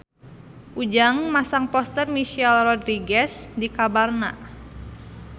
Ujang masang poster Michelle Rodriguez di kamarna